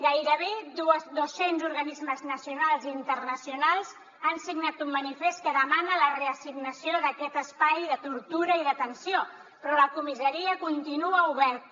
gairebé dos cents organismes nacionals i internacionals han signat un manifest que demana la reassignació d’aquest espai de tortura i d’atenció però la comissaria continua oberta